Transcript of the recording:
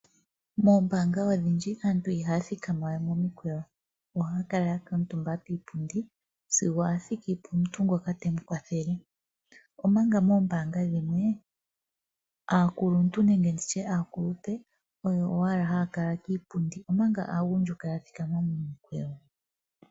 Moombaanga odhindji aantu ihaa thikama wee momikweyo ohaya kuutumba kiipundi sigo athiki pomuntu ngoka temu kwathele, ompanga moombaanga dhimwe aakuluntu nenge nditye aakulupe oyo owala haakala kiipundi ompanga aagundjuka ya kala yathikama momikweyo.